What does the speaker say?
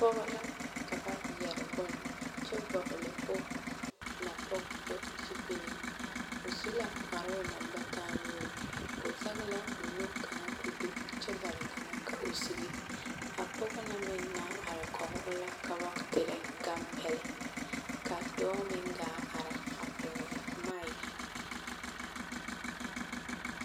Pɔɡɔ la ka ba yɛre bone kyɛ vɔɡele o napɔɡebɔ zupili o su la kparoo na ba taa nuuri o zɛŋ la o nu kaŋa ka o do kyɛ bare kaŋa ka o siɡi a pɔɡe na meŋ naŋ are kɔɡe o la ka ba terɛ ɡampɛlɛ ka dɔɔ meŋ ɡaa ara a pɛɡele maake.